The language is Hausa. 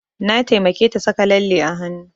Na taimake ta saka lalle a hanu